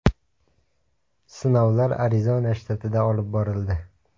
Sinovlar Arizona shtatida olib borildi.